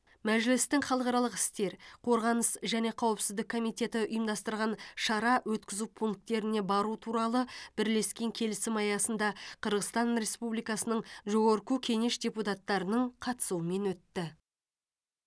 мәжілістің халықаралық істер қорғаныс және қауіпсіздік комитеті ұйымдастырған шара өткізу пункттеріне бару туралы бірлескен келісім аясында қырғызстан республикасының жогорку кенеш депутаттарының қатысуымен өтті